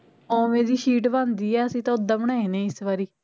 ਓਵੇ ਦੀ ਸ਼ੀਟ ਬਣਦੀ ਐ ਅਸੀਂ ਤਾ ਓਦਾਂ ਬਣਾਏ ਨੇ ਇਸ ਵਾਰੀ